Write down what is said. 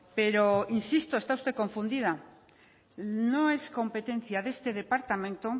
pero insisto está usted confundida no es competencia de este departamento